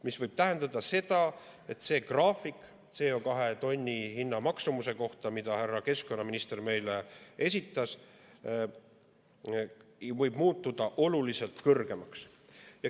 See võib tähendada seda, et sellel graafikul CO2 tonni hinna kohta, mille härra keskkonnaminister meile esitas, võivad näitajad muutuda oluliselt kõrgemaks.